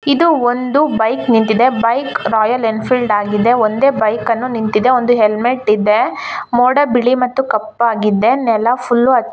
ಇದು ಒಂದು ಬೈಕ್ ನಿಂತಿದೆ ಬೈಕ್ ರಾಯಲ್ ಎನ್ಫೀಲ್ಡ್ ಆಗಿದೆ ಒಂದೇ ಬೈಕ್ ನಿಂತಿದೆ ಒಂದು ಹೆಲ್ಮೆಟ್ ಇದೆ ಮೋಡ ಬಿಳಿ ಮತ್ತು ಕಪ್ಪಾಗಿದೆ ನೆಲ ಫುಲ್ಲು --